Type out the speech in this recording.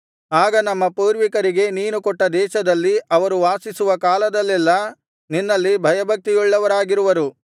ಆಗ ನಮ್ಮ ಪೂರ್ವಿಕರಿಗೆ ನೀನು ಕೊಟ್ಟ ದೇಶದಲ್ಲಿ ಅವರು ವಾಸಿಸುವ ಕಾಲದಲ್ಲೆಲ್ಲಾ ನಿನ್ನಲ್ಲಿ ಭಯಭಕ್ತಿಯುಳ್ಳವರಾಗಿರುವರು